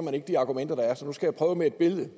man ikke de argumenter der er så nu skal jeg prøve med et billede